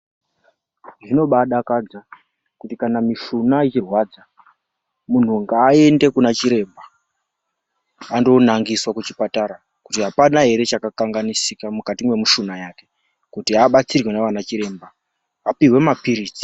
Zvino mbaadakadza kuti kana mishuna ichirwadza muntu ngaaende kuna chiremba andoonangiswa kuchipatara kuti apana ere chakakanganisika mukati mwemushuna yake kuti abatsirwe ndiana chiremba, apihwe mapiritsi